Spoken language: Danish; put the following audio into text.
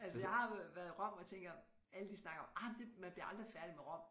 Altså jeg har været i Rom og tænker alle de snakker om ej det man bliver aldrig færdig med Rom